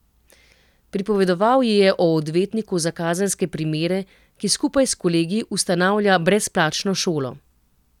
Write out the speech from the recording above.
Pripovedoval ji je o odvetniku za kazenske primere, ki skupaj s kolegi ustanavlja brezplačno šolo.